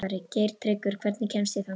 Geirtryggur, hvernig kemst ég þangað?